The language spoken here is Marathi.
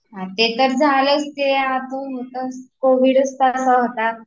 ते तर झालंच, ते आता होताच, कोविड च तसा होता